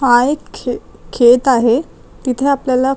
हा एक खे खेत आहे तिथे आपल्याला--